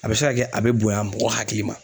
A bɛ se ka kɛ a bɛ bonya mɔgɔ hakili ma